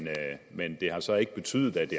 men det har så ikke betydet at det